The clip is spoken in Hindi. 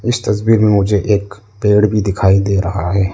इस तस्वीर में मुझे एक पेड़ भी दिखाई दे रहा है।